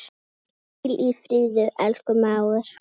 Hvíl í friði, elsku mágur.